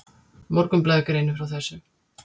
Morgunblaðið greinir frá þessu.